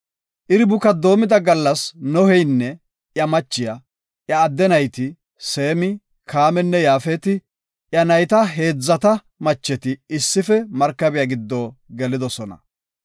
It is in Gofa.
Iri buka doomida gallas Noheynne iya machiya, iya adde nayti, Seemi, Kaaminne Yaafeti, iya nayta heedzata macheti issife markabiya giddo gelidosona.